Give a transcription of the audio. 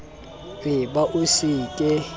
e ba o se ke